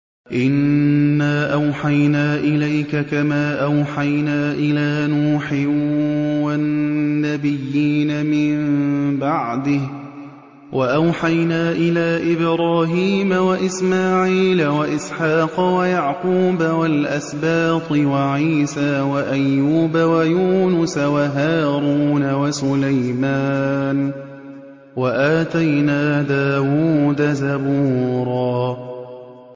۞ إِنَّا أَوْحَيْنَا إِلَيْكَ كَمَا أَوْحَيْنَا إِلَىٰ نُوحٍ وَالنَّبِيِّينَ مِن بَعْدِهِ ۚ وَأَوْحَيْنَا إِلَىٰ إِبْرَاهِيمَ وَإِسْمَاعِيلَ وَإِسْحَاقَ وَيَعْقُوبَ وَالْأَسْبَاطِ وَعِيسَىٰ وَأَيُّوبَ وَيُونُسَ وَهَارُونَ وَسُلَيْمَانَ ۚ وَآتَيْنَا دَاوُودَ زَبُورًا